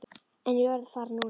En ég verð að fara núna.